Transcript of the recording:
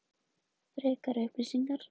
Frekari upplýsingar: